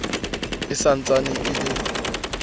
e sa ntsane e le